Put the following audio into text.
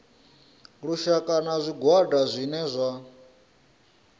lushaka na zwigwada zwine zwa